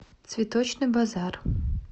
цветочный базар